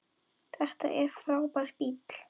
Þetta er frábær bíll.